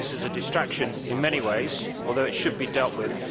I think this is a distraction in many ways although it should be dealt with.